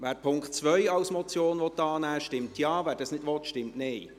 Wer den Punkt 2 als Motion annehmen will, stimmt Ja, wer dies nicht will, stimmt Nein.